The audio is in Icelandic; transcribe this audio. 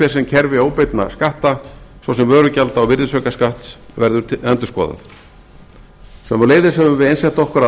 sem kerfi óbeinna skatta svo sem vörugjalda og virðisaukaskatts verði endurskoðað sömuleiðis höfum við einsett okkur að